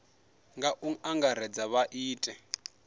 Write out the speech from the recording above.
nga u angaredza vha ite